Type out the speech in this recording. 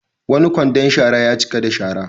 Wani kwandon shara ya cika da shara.